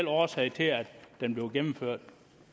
årsag til at den bliver gennemført